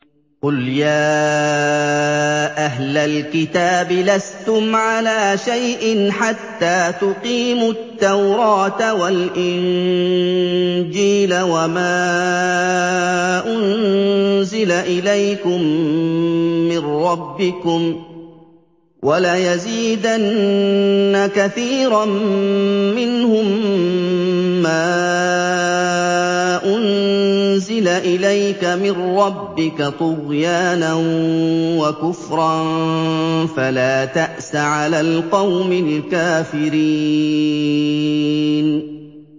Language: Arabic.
قُلْ يَا أَهْلَ الْكِتَابِ لَسْتُمْ عَلَىٰ شَيْءٍ حَتَّىٰ تُقِيمُوا التَّوْرَاةَ وَالْإِنجِيلَ وَمَا أُنزِلَ إِلَيْكُم مِّن رَّبِّكُمْ ۗ وَلَيَزِيدَنَّ كَثِيرًا مِّنْهُم مَّا أُنزِلَ إِلَيْكَ مِن رَّبِّكَ طُغْيَانًا وَكُفْرًا ۖ فَلَا تَأْسَ عَلَى الْقَوْمِ الْكَافِرِينَ